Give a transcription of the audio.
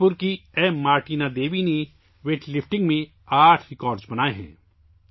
منی پور کی ایم مارٹینا دیوی نے ویٹ لفٹنگ میں آٹھ ریکارڈ بنائے ہیں